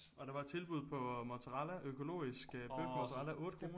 Og der var tilbud på mozzarella økologisk bøfmozzarella 8 kroner